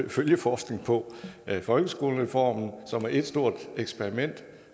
følgeforskning på folkeskolereformen som er ét stort eksperiment